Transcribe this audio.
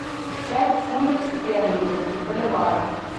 пять фунтов стерлингов в боливарах